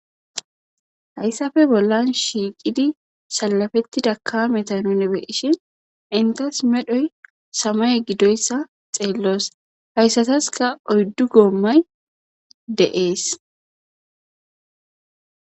Hayisappe bollan shiqidi uttuda kameta nuni be,ishin entasi medhoyi samaye gidoyisa xellos hasatasika oydu gomay de,ees